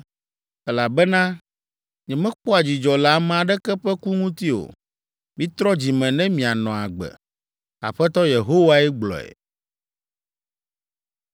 Elabena nyemekpɔa dzidzɔ le ame aɖeke ƒe ku ŋuti o. Mitrɔ dzi me ne mianɔ agbe. Aƒetɔ Yehowae gblɔe.